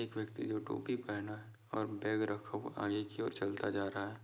एक व्यक्ति जो टोपी पहना है और बैग रखा हुआ आगे की और चलता जा रहा है।